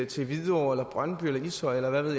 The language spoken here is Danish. til hvidovre eller brøndby eller ishøj eller hvad ved